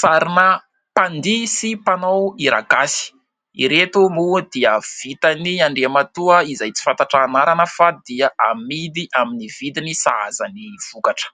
sarina mpandihy sy mpanao hira gasy ; ireto moa dia vitan'i Andriamatoa izay tsy fantatra anarana fa dia amidy amin'ny vidiny sahaza ny vokatra.